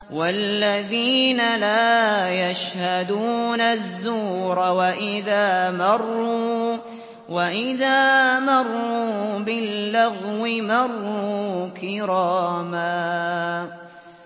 وَالَّذِينَ لَا يَشْهَدُونَ الزُّورَ وَإِذَا مَرُّوا بِاللَّغْوِ مَرُّوا كِرَامًا